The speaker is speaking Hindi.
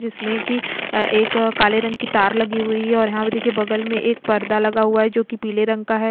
जिसमें कि एक काले रंग की तार लगी हुई है और यहां पे देखिए बगल में एक पर्दा लगा हुआ है जो कि पीले रंग का है।